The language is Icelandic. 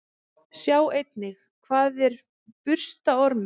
Sjá einnig: Hvað er burstaormur?